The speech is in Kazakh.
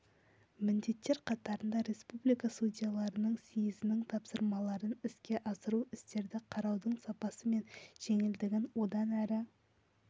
міндеттер қатарында республика судьяларының съезінің тапсырмаларын іске асыру істерді қараудың сапасы мен жеделдігін одан әрі